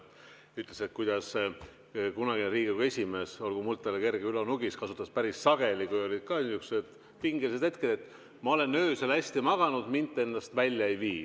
Ta rääkis, et kunagine Riigikogu esimees, olgu muld talle kerge, Ülo Nugis, kasutas päris sageli, kui olid ka niisugused pingelised hetked, lauset, et ma olen öösel hästi maganud, mind te endast välja ei vii.